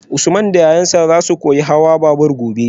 Usman da yayansa zasu koyi hawan babur gobe